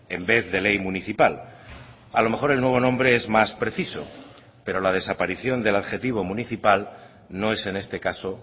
en vez de ley municipal a lo mejor el nuevo nombre es más preciso pero la desaparición del adjetivo municipal no es en este caso